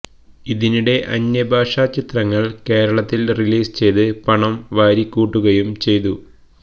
ഇതിനിടെ അന്യഭാഷാ ചിത്രങ്ങൾ കേരളത്തിൽ റിലീസ് ചെയ്ത് പണം വാരിക്കൂട്ടുകയും ചെയ്തു